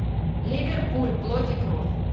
ливерпуль плоть и кровь